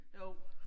Jo